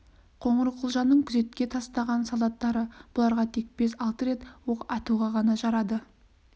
қоңырқұлжаның күзетке тастаған солдаттары бұларға тек бес-алты рет оқ атуға ғана жарады